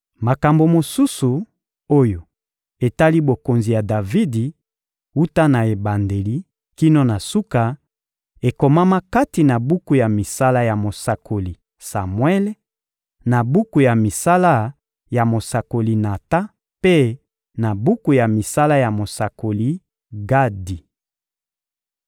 Makambo mosusu oyo etali bokonzi ya Davidi, wuta na ebandeli kino na suka, ekomama kati na buku ya misala ya mosakoli Samuele, na buku ya misala ya mosakoli Natan mpe na buku ya misala ya mosakoli Gadi.